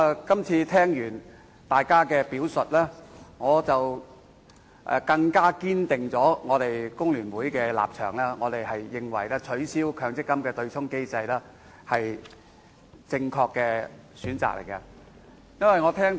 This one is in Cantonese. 今次聽過大家的表述，我們工聯會保持堅定立場，認為取消強制性公積金對沖機制是正確的選擇。